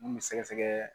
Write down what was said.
Mun bɛ sɛgɛsɛgɛ